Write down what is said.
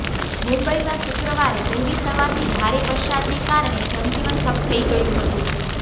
મુંબઈમાં શુક્રવારે વહેલી સવારથી ભારે વરસાદને કારણે જનજીવન ઠપ થઈ ગયું હતું